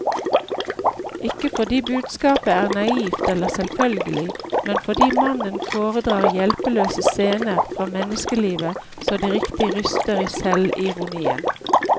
Ikke fordi budskapet er naivt eller selvfølgelig, men fordi mannen foredrar hjelpeløse scener fra menneskelivet så det riktig ryster i selvironien.